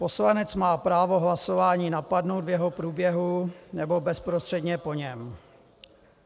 Poslanec má právo hlasování napadnout v jeho průběhu nebo bezprostředně po něm.